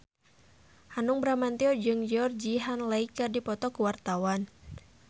Hanung Bramantyo jeung Georgie Henley keur dipoto ku wartawan